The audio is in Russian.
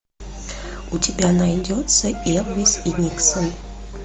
у тебя найдется элвис и никсон